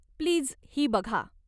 Please ही बघा.